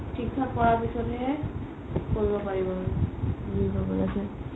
থিক থাক কৰাৰ পিছত হে আৰু কৰিব পাৰিম আৰু